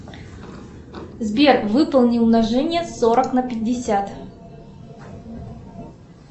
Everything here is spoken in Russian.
сбер выполни умножение сорок на пятьдесят